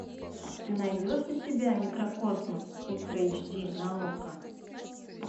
ты найдешь у себя микрокосмос ультра эйч ди на окко